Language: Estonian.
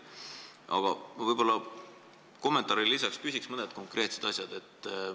Aga kommentaarile lisaks küsiks mõne konkreetse asja kohta.